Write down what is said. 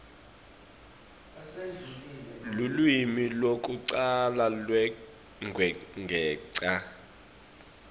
lulwimi lwekucala lwekwengeta